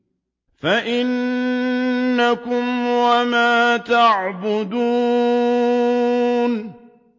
فَإِنَّكُمْ وَمَا تَعْبُدُونَ